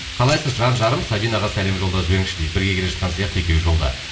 қалайсыз жан жарым сабинаға сәлем жолдап жіберіңізші дейді бірге келе жатқан сияқты екеуі жолда